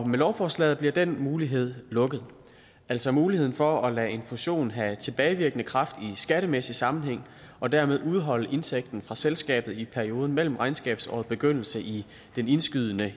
med lovforslaget bliver den mulighed lukket altså muligheden for at lade en fusion have tilbagevirkende kraft i skattemæssig sammenhæng og dermed udholde indtægten fra selskabet i perioden mellem regnskabsårets begyndelse i den indskydende